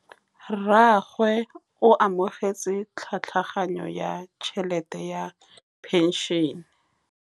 Rragwe o amogetse tlhatlhaganyô ya tšhelête ya phenšene.